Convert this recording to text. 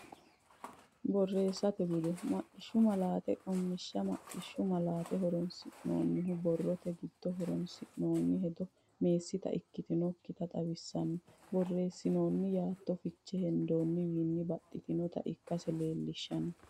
Borreessate Bude: Maqishshu Malaate Qummishsha Maqqishshu malaate horonsi’nannihu: borrote giddo horonsi’noonni hedo meessita ikkitinokkita xawisatenna borreessinoonni yaatto fiche hendoonniwiinni baxxitinota ikkase leellishateeti.